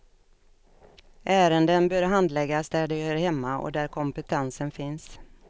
Ärenden bör handläggas där de hör hemma och där kompetensen finns.